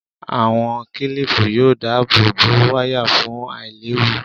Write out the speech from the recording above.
Àwọn kílìpù yóò dáàbò bo wáyà fún àìléwu